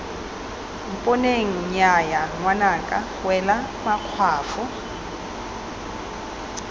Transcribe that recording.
mponeng nnyaya ngwanaka wela makgwafo